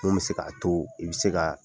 Mun bɛ se ka to i bɛ se ka